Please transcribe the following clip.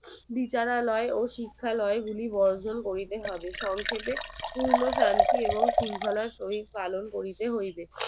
বিচারালয় ও শিক্ষালয় গুলি বর্জন করিতে হবে সংখেপে পূর্ণ শান্তি এবং শৃঙ্খলায় পালন করিতে হইবে